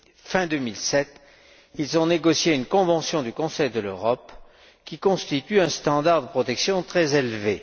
Fin 2007, ils ont négocié une convention du Conseil de l'Europe qui instaure un standard de protection très élevé.